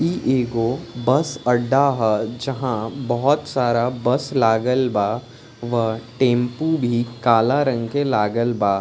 इ एगो बस अड्डा ह जहाँ बहुत सारा बस लागल बा और टैम्पू भी काला रंग के लागल बा।